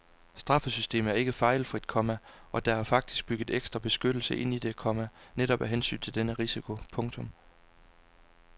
Straffesystemet er ikke fejlfrit, komma og der er faktisk bygget ekstra beskyttelse ind i det, komma netop af hensyn til denne risiko. punktum